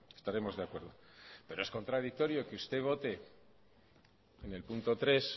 estaremos de acuerdo pero es contradictorio que usted vote en el punto tres